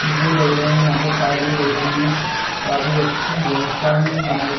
शीशे लग रहे हैं यहाँ पर टाइल भी लग रही है। काफी अच्छी व्यवस्था है बनाई गई --